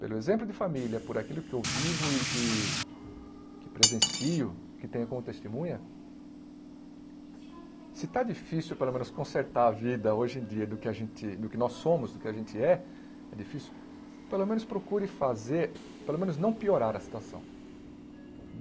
Pelo exemplo de família, por aquilo que eu vivo e que que presencio, que tenho como testemunha, se está difícil, pelo menos, consertar a vida hoje em dia do que a gente nós somos, do que a gente é, é difícil, pelo menos procure fazer, pelo menos, não piorar a situação.